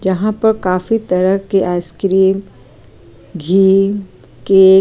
जहाँ पर काफी तरह के आईस्क्रीम घी केक --